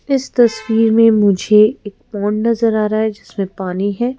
इस तस्वीर में मुझे एक पोंड नजर आ रहा है जिसमें पानी है।